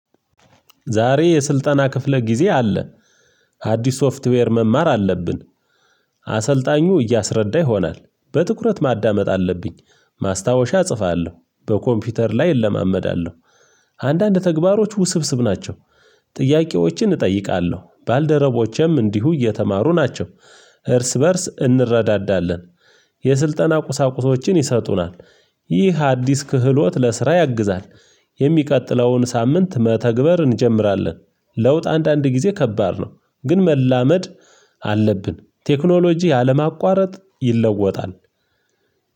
ዛሬ የስልጠና ክፍለ ጊዜ አለ። አዲስ ሶፍትዌር መማር አለብን። አሰልጣኙ እያሰረዳ ይሆናል በትኩረት ማዳመጥ አለብኝ ማስታወሻ እጽፋለሁ በኮምፒውተር ላይ እለማመዳለሁ። አንዳንድ ተግባሮች ውስብስብ ናቸው። ጥያቄዎችን እጠይቃለሁ ባልደረቦቼም እንዲሁ እየተማሩ ናቸው እርስ በእርስ እንረዳዳለን። የስልጠና ቁሳቁሶችን ይሰጡናል። ይህ አዲስ ክህሎት ለስራ ያግዛል። የሚቀጥለውን ሳምንት መተግበር እንጀምራለን ለውጥ አንዳንድ ጊዜ ከባድ ነው። ግን መላመድ አለብን ቴክኖሎጂ አለማቋረጥ ይለወጣል።